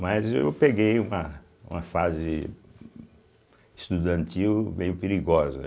Mas eu peguei uma uma fase estudantil meio perigosa, né.